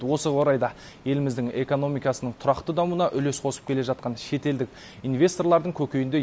осы орайда еліміздің экомномикасының тұрақты дамуына үлес қосып келе жатқан шетелдік инвесторлардың көкейінде